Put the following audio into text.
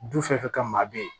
Du fɛn o fɛn ka maa bɛ yen